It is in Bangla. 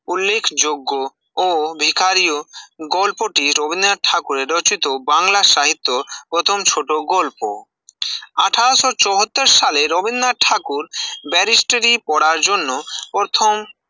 উল্লেখযোগ্য ও ভিখারিও গল্পটি রবীন্দ্রনাথ ঠাকুরের রচিত বাংলা সাহিত্যে প্রথম ছোট গল্প, আঠেরোশো চুয়াত্তর সালে রবীন্দ্রনাথ ঠাকুর বারেসটেরি পড়ার জন্য প্রথম